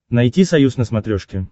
найти союз на смотрешке